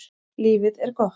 Lífið er gott.